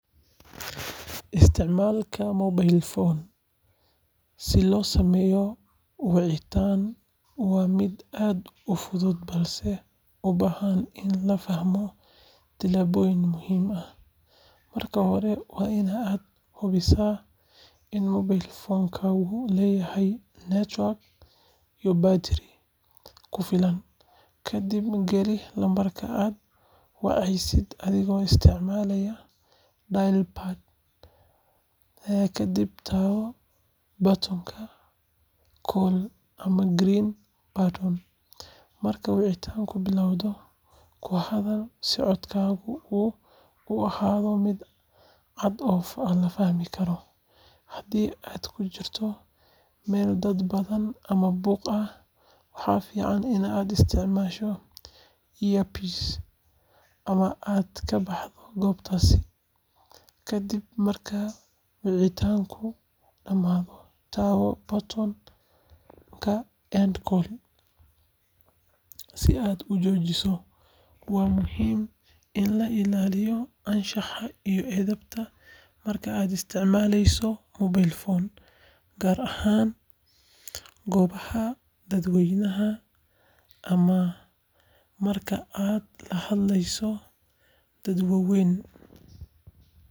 Isticmaalka mobile phone si loogu sameeyo wicitaan waa mid aad u fudud balse u baahan in la fahmo tallaabooyin muhiim ah. Marka hore, waa in aad hubisaa in mobile phone-kaagu leeyahay network iyo battery ku filan. Kadib, geli lambarka aad wacaysid adigoo isticmaalaya dial pad, kadibna taabo batoonka call ama green button. Marka wicitaanku bilaabmo, ku hadal si codkaagu u ahaado mid cad oo la fahmi karo. Haddii aad ku jirto meel dad badan ama buuq ah, waxaa fiican inaad isticmaasho earpiece ama aad ka baxdo goobtaas. Ka dib marka wicitaanku dhamaado, taabo batoonka end call si aad u joojiso. Waa muhiim in la ilaaliyo anshaxa iyo edebta marka aad isticmaaleyso mobile phone, gaar ahaan goobaha dadweynaha ama marka aad la hadlayso dad waaweyn.